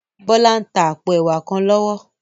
Bola n tá àpó èwá kán lòwò